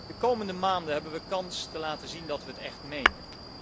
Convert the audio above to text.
De komende maanden hebben wij kans te laten zien dat wij het echt menen.